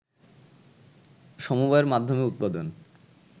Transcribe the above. সমবায়ের মাধ্যমে উৎপাদন